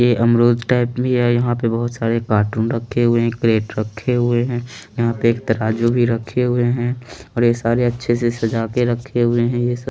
ये अमरुद टाइप भी है यहाँ पे बहोत सारे कार्टून रखे हुए है केरेट रखे हुए है यह पे एक तराजू भी रखे हुए है और ये सारे अच्छे से सजा के रखे हुए है ये सब --